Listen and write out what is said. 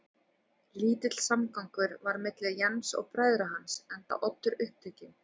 Lítill samgangur var milli Jens og bræðra hans, enda Oddur upptekinn